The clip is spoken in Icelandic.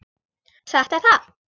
Satt er það.